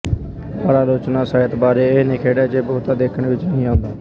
ਪਰ ਆਲੋਚਨਾ ਸਾਹਿਤ ਬਾਰੇ ਇਹ ਨਿਖੇੜ ਅਜੇ ਬਹੁਤਾ ਦੇਖਣ ਵਿੱਚ ਨਹੀਂ ਆਉਂਦਾ